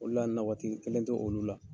Ole la na waati kelen t'olu la.